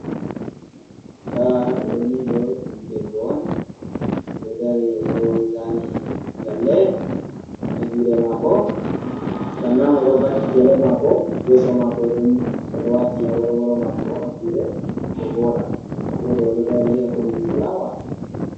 Nda ɗoni ɗo ɗum debbo on oɗo dari oɗo zani lalle, ha juɗe mako, fahintabo odo fakki gele mako yeso mako ɗo nyukki odo wati aworworo mako ha juɗe ko voɗa, nda moɗo oɗo dari ha kombi fulawa.